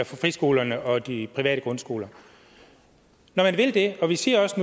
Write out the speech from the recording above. friskolerne og de private grundskoler når man vil det og vi siger også